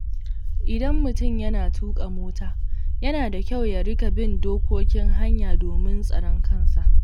Idan mutum yana tuka mota, yana da kyau ya riƙa bin dokokin hanya domin tsaron kansa.